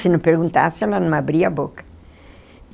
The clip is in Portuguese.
Se não perguntasse, eu não abria a boca.